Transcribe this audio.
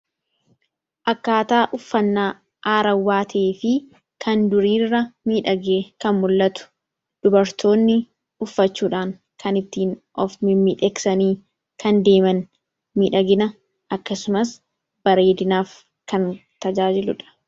Akkaataa uffannaa haarawaa ta'ee fi kan duriirra miidhagee kan mul'atu dubartoonni uffachuudhaan kan ittiin of miidhagsabii deeman, miidhaginaaf akkasumas bareedinaaf kan tajaajiludha.